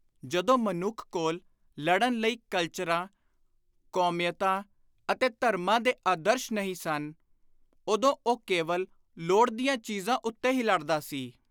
ਜਦੋਂ ਮਨੁੱਖ ਕੋਲ ਲੜਨ ਲਈ ਕਲਚਰਾਂ, ਕੌਮੀਅਤਾਂ ਅਤੇ ਧਰਮਾਂ ਦੇ ਆਦਰਸ਼ ਨਹੀਂ ਸਨ, ਉਦੋਂ ਉਹ ਕੇਵਲ ਲੋੜ ਦੀਆਂ ਚੀਜ਼ਾਂ ਉੱਤੇ ਹੀ ਲੜਦਾ ਸੀ।